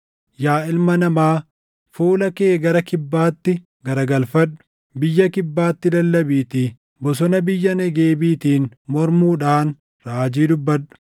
“Yaa ilma namaa, fuula kee gara kibbaatti garagalfadhu; biyya kibbaatti lallabiitii bosona biyya Negeebiitiin mormuudhaan raajii dubbadhu.